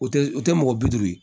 O tɛ o tɛ mɔgɔ bi duuru ye